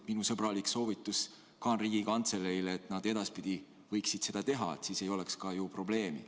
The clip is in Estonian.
Minu sõbralik soovitus Riigikantseleile on see, et nad edaspidi võiksid seda teha, siis ei oleks ka ju probleemi.